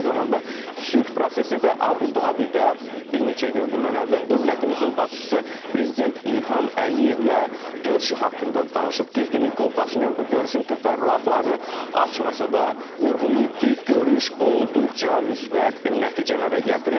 Sülh prosesi və Abu Dabidə bir neçə gün bundan əvvəl dövlətimizin başçısı prezident İlham Əliyevlə görüşü haqqında danışıb, düzdür, Nikol Paşinyan bu görüşün təfərrüatlarını açmasa da, vurğulayıb ki, görüş olduqca müsbət nəticələrə gətirib.